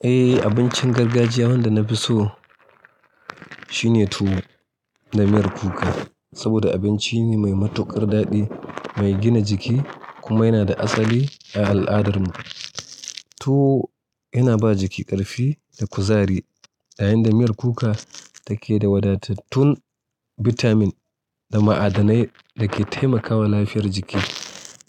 Eh, abincin gargajiya wanda na fi so shine tuwo da miyar kuka. Saboda abinci ne mai matuƙar daɗi, mai gina jiki kuma yana da asali a al'adarmu. Tuwo, yana ba jiki ƙarfi da kuzari, yayin da miyar kuka take da wadatattun bitamin da ma'adanai da ke taimakawa lafiyar jiki.